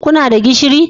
Kuna da gishiri?